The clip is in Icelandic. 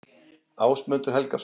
Ásmundur Helgason.